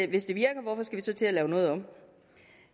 hvis det virker hvorfor skal vi så til at lave noget om